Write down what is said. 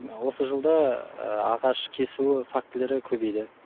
осы жылда ағаш кесу фактілері көбейді